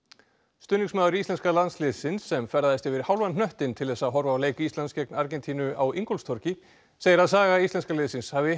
stuðningsmaður íslenska landsliðsins sem ferðaðist yfir hálfan hnöttinn til þess að horfa á leik Íslands gegn Argentínu á Ingólfstorgi segir að saga íslenska liðsins hafi